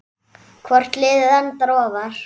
Hvort liðið endar ofar?